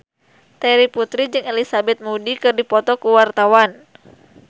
Terry Putri jeung Elizabeth Moody keur dipoto ku wartawan